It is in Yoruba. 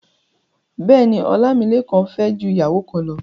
Bẹ́ẹ̀ni, Ọlámílékan fẹ́ ju ìyàwó kan lọ.